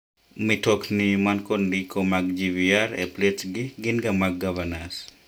mitokni man kod ndiko mag GVR e plets gi gin ga mag gavanas.